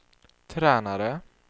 tränare